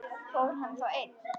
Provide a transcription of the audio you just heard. Fór hann þá einn?